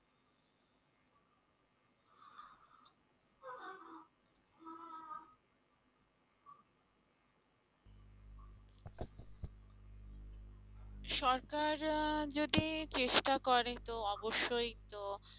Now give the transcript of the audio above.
সরকার যদি চেষ্টা করে তো অবশ্যই তো